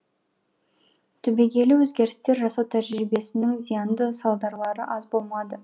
түбегейлі өзгерістер жасау тәжірибесінің зиянды салдарлары аз болмады